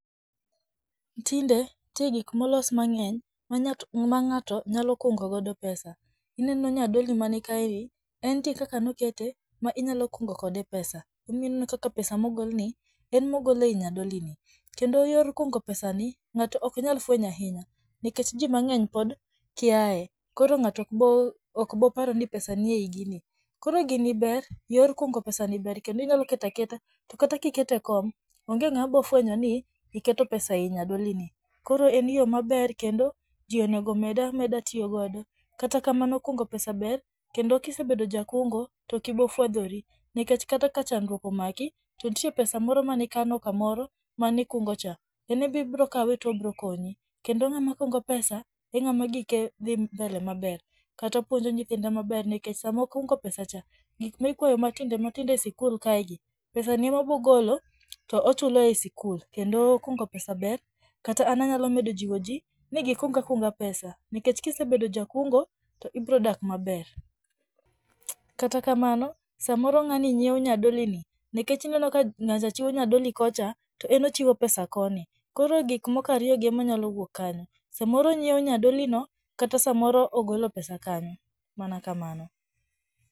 Tinde nitie gik molos mang'eny m ngato nyalo kuongo godo pesa ineno nya doli mani ka eni ,entie kaka nokete ma inyalo kungo kode pesa emomiyo ineno kaka pesa mogol ni en mogol ei nyadoli ni kendo yor kungo pesani ngato ok nyal fwenyo ahinya nikech ji mangeny pod kiaye ,koro ng'ato ok bro pare ni pesa nie i gini ,koro gini ber ,yor kungo pesa ni ber inyalo keto aketa, to kata kiketo e kom onge ngama iro fwenyo ni iketo pesa e i nyadolini, koro en yo maber kendo ji onego med ameda tiyo kode ,kata kamano kungo pesa ber kendo kisebedo jakungo tok ibiro fwadho ri nikech kata ka chandruok omaki to nitie pesa mane ikano kamoro mane ikungo cha kendo ibiro kawe to obiro konyi kendo ngama kungo pesa e ngama gike dhi mbele maber kata opuopnjo nyithinde maber nikech sama okungo pesa cha gik makuaye matindo tindo e skul kae gi